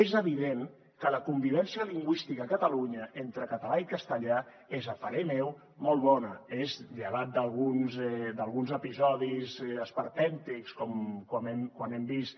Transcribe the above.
és evident que la convivència lingüística a catalunya entre català i castellà és a parer meu molt bona és llevat d’alguns episodis esperpèntics com quan hem vist